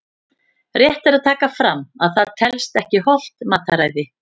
Rétt er að taka fram að það telst ekki hollt mataræði!